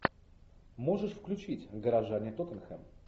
можешь включить горожане тоттенхэм